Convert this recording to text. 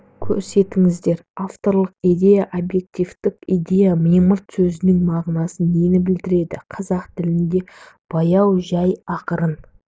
көрсетіңіздер авторлық идея объективтік идея мимырт сөзінің мағынасы нені білдіреді қазақ тіліндегі баяу жай ақырын